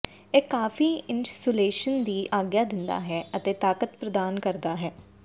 ਇਹ ਕਾਫ਼ੀ ਇਨਸੁਲੇਸ਼ਨ ਦੀ ਆਗਿਆ ਦਿੰਦਾ ਹੈ ਅਤੇ ਤਾਕਤ ਪ੍ਰਦਾਨ ਕਰਦਾ ਹੈ